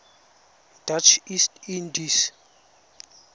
dutch east indies